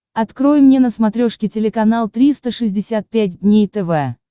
открой мне на смотрешке телеканал триста шестьдесят пять дней тв